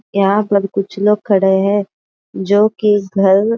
यहाँ पर कुछ लोग खड़े है। जो की घर --